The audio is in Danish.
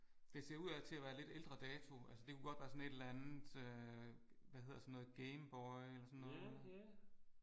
Det ser ud ad til at være lidt ældre dato altså det kunne godt være sådan et eller andet øh hvad hedder sådan noget Game Boy eller sådan noget